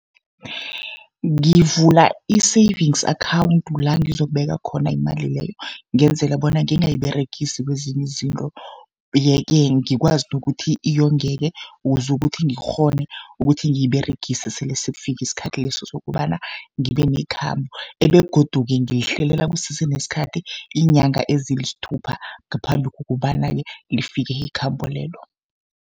Ngivula i-savings account la ngizokubeka khona imali leyo, ngenzela bona ngingayiberegisi kezinye izinto. Ye-ke ngikwazi nokuthi yongeke ukuze ukuthi ngikghone ukuthi ngiyiberegise, sele sekufike isikhathi leso sokobana ngibe nekhambo. Begodu-ke ngilihlelela kusese nesikhathi, iinyanga ezisithupha ngaphambi kobana-ke lifike ikhambo lelo.